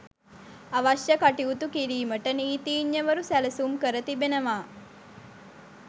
අවශ්‍ය කටයුතු කිරීමට නීතිඥවරු සැලසුම් කර තිබෙනවා.